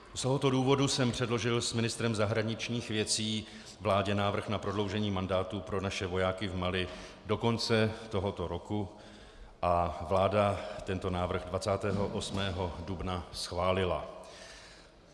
Z tohoto důvodu jsem předložil s ministrem zahraničních věcí vládě návrh na prodloužení mandátu pro naše vojáky v Mali do konce tohoto roku a vláda tento návrh 28. dubna schválila.